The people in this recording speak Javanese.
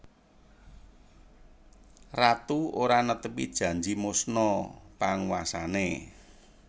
Ratu ora netepi janji musna panguwasane